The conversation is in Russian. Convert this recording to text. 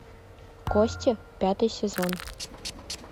кости пятый сезон